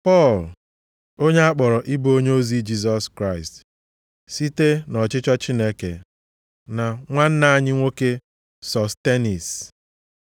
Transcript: Pọl, onye a kpọrọ ịbụ onyeozi Jisọs Kraịst site nʼọchịchọ Chineke, na nwanna anyị nwoke Sostenis,